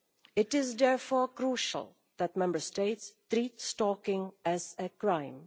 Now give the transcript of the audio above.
It is therefore crucial that Member States treat stalking as a crime.